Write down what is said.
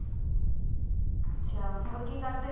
ਅੱਛਾ ਹੋਰ ਕੀ ਕਰਦੇ?